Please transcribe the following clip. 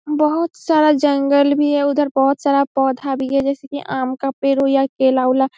बहोत सारा जंगल भी है उधर बहोत सारा पौधा भी है जैसा की आम का पेड़ हो या केला ओला --